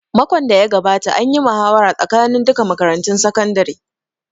Makon da ya gabata an yi muhawara tsakanin duka makarantun sakandare